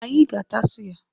Anyị ga-ata suya.